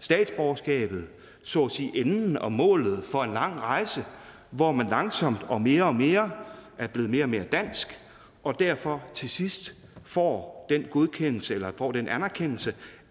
statsborgerskabet så at sige enden og målet for en lang rejse hvor man langsomt og mere og mere er blevet mere og mere dansk og derfor til sidst får den godkendelse eller får den anerkendelse